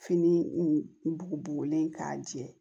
Fini bugubugulen k'a jɛ